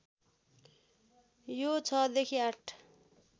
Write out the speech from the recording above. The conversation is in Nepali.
यो ६ देखि ८